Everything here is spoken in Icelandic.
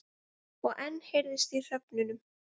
Og enn heyrðist í hröfnunum.